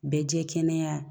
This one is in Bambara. Bɛɛ jɛ kɛnɛya